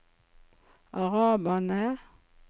araberne